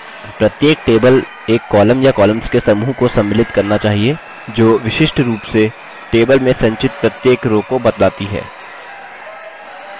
प्रत्येक table एक column या columns के समूह को सम्मिलित करना चाहिये जो विशिष्ट row से table में संचित प्रत्येक row को बतलाती है